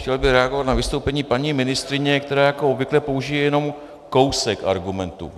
Chtěl bych reagovat na vystoupení paní ministryně, která jako obvykle použije jenom kousek argumentu.